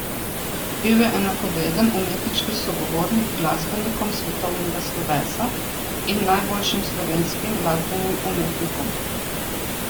Bil je enakovreden umetniški sogovornik glasbenikom svetovnega slovesa in najboljšim slovenskim glasbenim umetnikom.